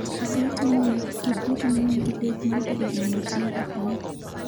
Chakre tinne, Kipruto ne nigi lek mar bedo jang'wech marahuma